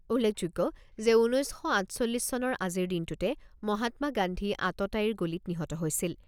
উল্লেখযোগ্য যে, ঊনৈছ শ আঠচল্লিছ চনৰ আজিৰ দিনটোতে মহাত্মা গান্ধী আততায়ীৰ গুলীত নিহত হৈছিল।